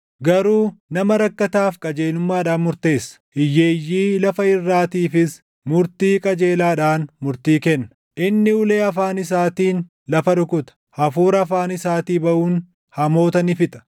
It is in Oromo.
garuu nama rakkataaf qajeelummaadhaan murteessa; hiyyeeyyii lafa irraatiifis murtii qajeelaadhaan murtii kenna. Inni ulee afaan isaatiin lafa rukuta; hafuura afaan isaatii baʼuun hamoota ni fixa.